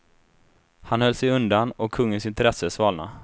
Han höll sig undan, och kungens intresse svalnade.